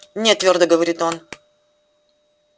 не твёрдо говорит он